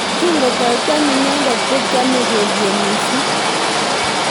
Kingotoi kwam inendet kokiamei kelyek mising.